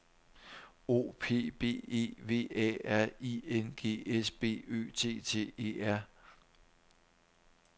O P B E V A R I N G S B Ø T T E R